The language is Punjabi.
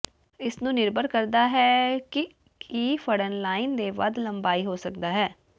ਇਸ ਨੂੰ ਨਿਰਭਰ ਕਰਦਾ ਹੈ ਕਿ ਕੀ ਫੜਨ ਲਾਈਨ ਦੇ ਵੱਧ ਲੰਬਾਈ ਹੋ ਸਕਦਾ ਹੈ